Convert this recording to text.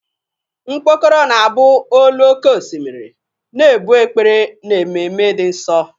Mkpokoro na-abụ olu oké osimiri, na-ebu ekpere n'ememe dị nsọ.